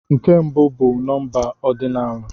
Nke mbụ bụ nọmba ọdinalu